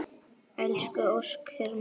Elsku Óskar minn.